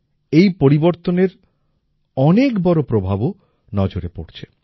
এই পরিবর্তনের অনেক বড় প্রভাবও নজরে পড়ছে